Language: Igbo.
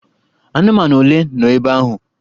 Anụmanụ ole nọ ebe ahụ?